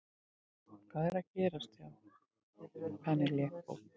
Hvað er að gerast sagði Penélope.